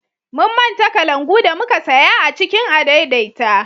Mun manta kalangu da muka saya a cikin adaidaita